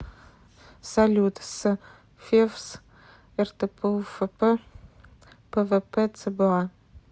салют с февс ртпуфп пвпцба